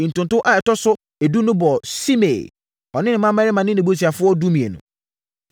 Ntonto a ɛtɔ so edu no bɔɔ Simei, ɔne ne mmammarima ne nʼabusuafoɔ (12)